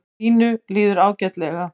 Og Ínu líður ágætlega.